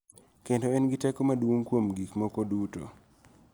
Kendo en gi teko maduong� kuom gik moko duto .